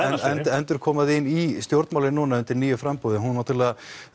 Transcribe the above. endurkoma þín í stjórnmálin undir nýju framboði hún náttúrulega